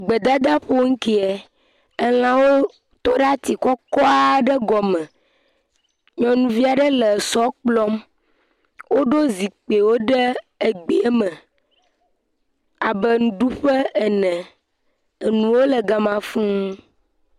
Gbedadaƒo ŋkie, elã ɖe tɔ ɖe ati kɔkɔ aɖe gɔme, nyɔnuvia ɖe le sɔ kplɔm, woɖo zikpuiwo ɖe egbea me abe nuɖuƒe ene. Enuwo le gama fuu.